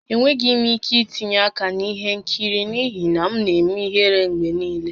Enweghị m ike itinye aka na ihe nkiri n'ihi na m na-eme ihere mgbe niile